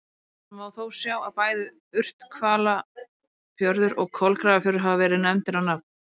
Þar má þó sjá að bæði Urthvalafjörður og Kolgrafafjörður hafa verið nefndir á nafn.